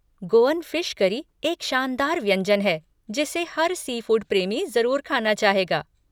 Goan fish curry एक शानदार व्यंजन है जिसे हर सीफ़ूड प्रेमी जरुर ख़ाना चाहेगा।